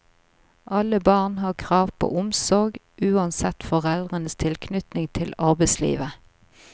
Alle barn har krav på omsorg, uansett foreldrenes tilknytning til arbeidslivet.